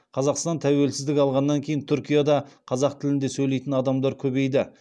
қазақстан тәуелсіздік алғаннан кейін түркияда қазақ тілінде сөйлейтін адамдар көбейді